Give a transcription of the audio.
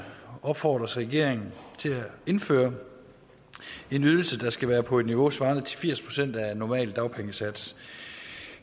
opfordres regeringen til at indføre en ydelse der skal være på et niveau svarende til firs procent af en normal dagpengesats